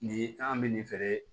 Ni an bɛ nin feere